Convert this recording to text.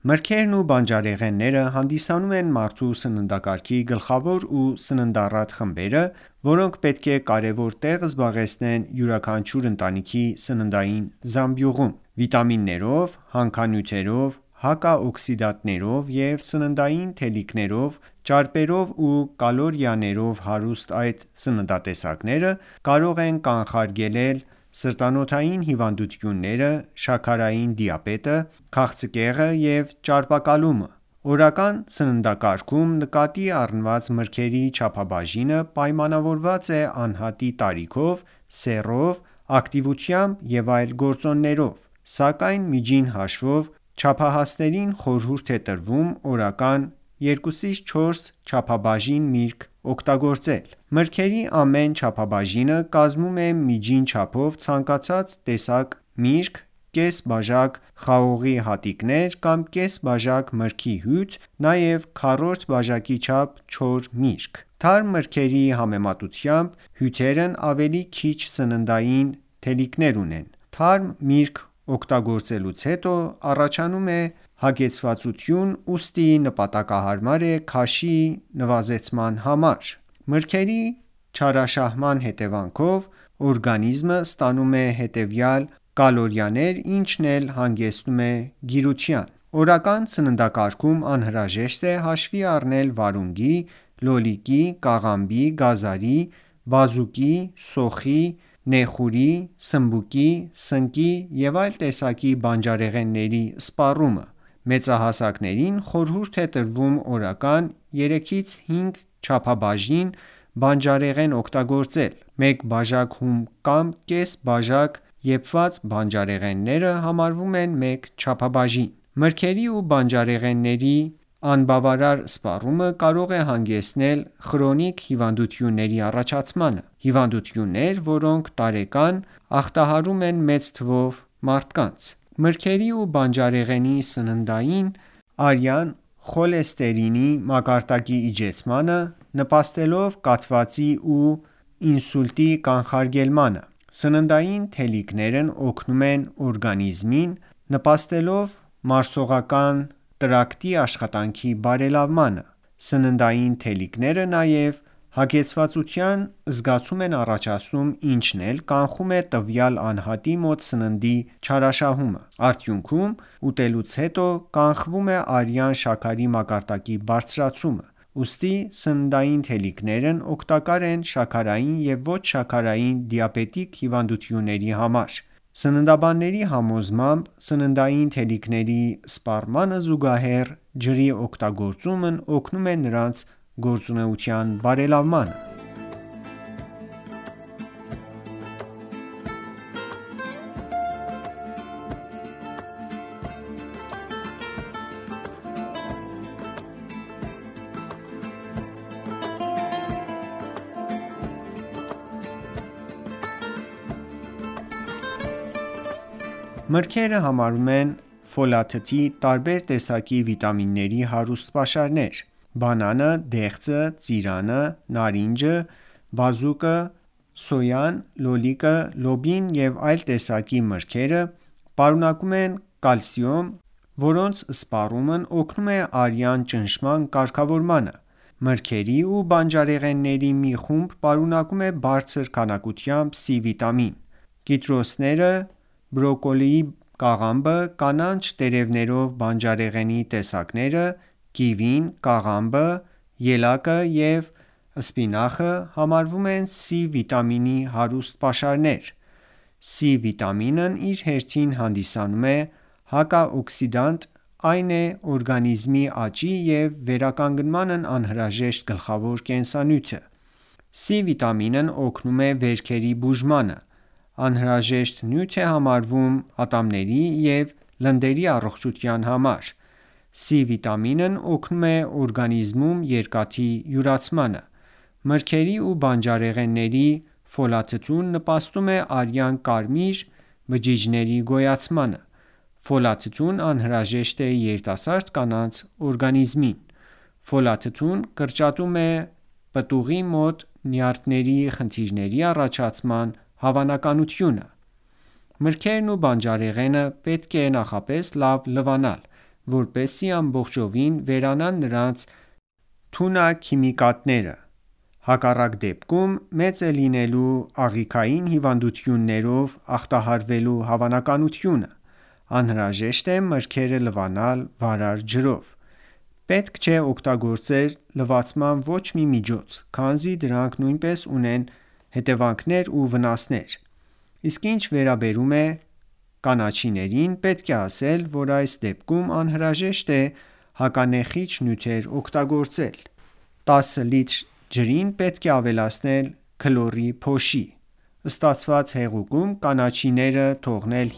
Մրգերն ու բանջարեղենները հանդիսանում են մարդու սննդակարգի գլխավոր ու սննդառատ խմբերը, որոնք պետք է կարևոր տեղ զբաղեցնեն յուրաքանչյուր ընտանիքի սննդային զամբյուղում: Վիտամիններով, հանքանյութերով, հակաօկսիդանտներով ու սննդային թելիկներով, ճարպերով ու կալորիաներով հարուստ այդ սննատեսակները, կարող են կանխարգելել սրտանոթային հիվանդությունները, շաքարային դիաբետը, քաղցկեղը և ճարպակալումը: Օրական սննդակարգում նկատի առնված մրգերի չափաբաժինը պայմանավորված է անհատի տարիքով, սեռով, ակտիվությամբ և այլ գործոններով, սակայն միջին հաշվով չափահասներին խորհուրդ է տրվում օրական 2-4 չափաբաժին միրգ օգտագործել: Մրգերի ամեն չափաբաժինը կազմում է միջին չափով ցանկացած տեսակի միրգ, կես բաժան խաղողի հատիկներ, կամ կես բաժան մրգի հյութ, նաև քառորդ բաժակի չոր միրգ: Թարմ մրգերի համեմատությամբ հյութերն ավելի քիչ սննդային թելիկներ ունեն: Թարմ միրգ օգտագործելուց հետո, առաջանում է հագեցվածություն, ուստի նպատակահարմար է քաշի նվազեցման համար: Մրգերի չարաշահման հետևանքով, օրգանիզմը ստանում է հավելյալ կալորիաներ, ինչն էլ հանգեցնում է գիրության: Օրական սննդակարգում անհրաժեշտ է հաշվի առնել վարունգի, լոլիկի, կաղամբի, գազարի, բազուկի, սոխի, նեխուրի, սմբուկի, սնկի և այլ տեսակի բանջարեղենների սպառումը: Մեծահասակներին խորհուրդ է տրվում օրական 3-5 չափաբաժին բանջարեղեն օգտագործել: Մեկ բաժակ հում կամ կես բաժակ եփված բանջարեղենը համարվում է մեկ չափաբաժին: Մրգերի ու բանջարեղենի անբավարար սպառումը կարող է հանգեցնել խրոնիկ հիվանդությունների առաջացմանը: Հիվանդություններ, որոնք տարեկան ախտահարում են մեծ թվով մարդկանց: Մրգերի ու բանջարեղենի սննդային թելիկներն օգնում են արյան խոլեստերինի մակարդակի իջեցմանը, նպաստելով կաթվածի ու ինսուլտի կանխարգելմանը: Սննդային թելիկներն օգնում են օրգանիզմին ՝ նպաստելով մարսողական տրակտի աշխատանքի բարելավմանը: Սննդային թելիկները նաև հագեցվածության զգացում են առաջացնում, ինչն էլ կանխում է տվյալ անհատի մոտ սննդի չարաշահումը: Արդյունքում, ուտելուց հետո, կանխվում է արյան շաքարի մակարդակի բարձրացումը: Ուստի, սննդային թելիկներն օգտակար են շաքարային և ոչ-շաքարային դիաբետիկ հիվանդների համար: Սննդաբանների համոզմամբ, սննդային թելիկների սպառմանը զուգահեռ, ջրի օգտագործումն օգնում է նրանց գործունեության բարելավմանը: Մրգերը համարվում են ֆոլաթթվի, տարբեր տեսակի վիտամինների հարուստ պաշարներ: Բանանը, դեղձը, ծիրանը, նարինջը, բազուկը, սոյան, լոլիկը, լոբին և այլ տեսակի մրգերը պարունակում են կալիում, որոնց սպառումն օգնում է արյան ճնշման կարգավորմանը: Մրգերի ու բանջարեղենի մի խումբ պարունակում է բարձր քանակությամբ C վիտամին: Կիտրուսները, բրոկոլի կաղամբը, կանաչ տերևներով բանջարեղենի տեսակները, կիվին, կաղամբը, ելակը և սպինախը համարվում են C վիտամինի հարուստ պաշարներ: C վիտամինն իր հերթին հանդիսանում է հակաօկսիդանտ ՝ այն է օրգանիզմի աճի և վերականգմանն անհրաժեշտ գլխավոր կենսանյութը: C վիտամինն օգնում է վերքերի բուժմանը, անհրաժեշտ նյութ է համարվում ատամների ու լնդերի առողջության համար: C վիտամինն օգնում է օրգանիզմում երկաթի յուրացմանը: Մրգերի ու բանջարեղենի ֆոլաթթուն նպաստում է արյան կարմիր բջիջների գոյացմանը: Ֆոլաթթուն անհրաժեշտ է երիտասարդ կանանց օրգանիզմին: Ֆոլաթթուն կրճատում է պտուղի մոտ նյարդային խնդիրների առաջացման հավանականությունը: Միրգն ու բանջարեղենը պետք է նախապես լավ լվանալ, որպեզի ամբողջովին վերանան նրանց թունաքիմիկատները: Հակառակ դեպքում, մեծ է լինելու աղիքային հիվանդություններով ախտահարվելու հավանականությունը: Անհրաժեշտ է մրգերը լվանալ վարար ջրով: Պետք չէ օգտագործել լվացման ոչ մի միջոց, քանզի դրանք նույնպես ունեն հետևանքներ ու վնասներ: Իսկ ինչ վերաբերում է կանաչիներին, պետք է ասել, որ այս դեպքում անհրաժեշտ է հականեխիչ նյութեր օգտագործել: Տասը լիտր ջրին պետք է ավելացնել քլորի փոշի: Ստացված հեղուկ կանաչիները թողնել